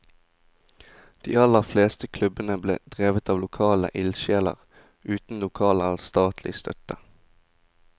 De aller fleste klubbene ble drevet av lokale ildsjeler, uten lokal eller statlig støtte.